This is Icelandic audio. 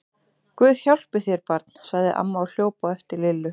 Guð hjálpi þér barn! sagði amma og hljóp á eftir Lillu.